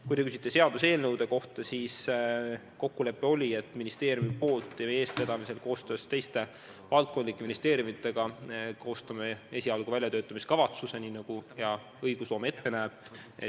Kui te küsite seaduseelnõude kohta, siis kokkulepe oli, et ministeeriumi eestvedamisel ja koostöös teiste valdkondlike ministeeriumidega koostame esialgu väljatöötamiskavatsuse, nii nagu hea õigusloome ette näeb.